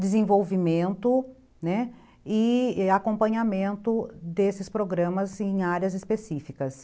desenvolvimento, né, e acompanhamento desses programas em áreas específicas.